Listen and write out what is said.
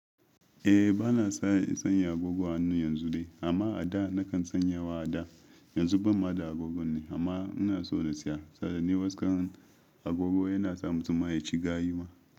Eh bana son sanya agogo a hannu yanzu dai amma a da nakan sanyawa a da. Yanzu ban ma da agogon ne amma ina so na siya. Sarace ne waskar agogo yana sa mutum ya ci gayu.